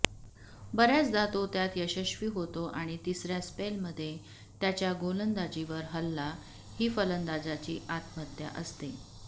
बर्याचदा तो त्यात यशस्वी होतो आणि तिसर्या स्पेलमध्ये त्याच्या गोलंदाजीवर हल्ला ही फलंदाजाची आत्महत्या असते